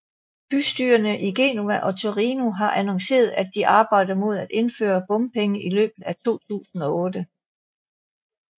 Bystyrerne i Genova og Torino har annonceret at de arbejder mod at indføre bompenge i løbet af 2008